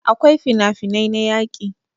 akwai finafinai na yaƙi